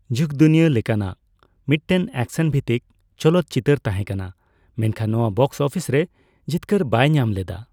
ᱡᱩᱜ ᱫᱩᱱᱤᱭᱟ ᱞᱮᱠᱟᱱᱟᱜ ᱢᱤᱫᱴᱮᱱ ᱮᱠᱥᱮᱱᱼᱵᱷᱤᱛᱛᱤᱠ ᱪᱚᱞᱚᱛᱪᱤᱛᱟᱹᱨ ᱛᱟᱦᱮᱸ ᱠᱟᱱᱟ, ᱢᱮᱱᱠᱷᱟᱱ ᱱᱚᱣᱟ ᱵᱚᱠᱥ ᱚᱯᱷᱤᱥ ᱨᱮ ᱡᱤᱛᱠᱟᱹᱨ ᱵᱟᱭ ᱧᱟᱢ ᱞᱮᱫᱟ ᱾